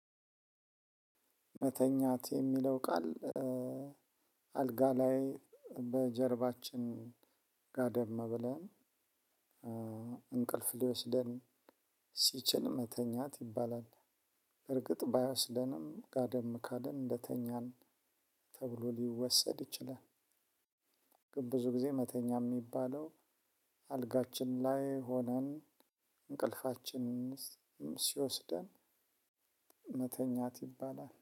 "መተኛት" የሚለው ቃል አልጋ ላይ በጀርባችን ጋደም ብለን፣ እንቅልፍ ሊወስደን ሲችል መተኛት ይባላል። እርግጥ ባይወስደንም ጋደም ካልን እንደተኛን ተብሎ ሊወሰድ ይችላል። ግን ብዙ ጊዜ መተኛት የሚባለው፣ አልጋችን ላይ ሆነን እንቅልፋችን ሲወስደን መተኛት ይባላል።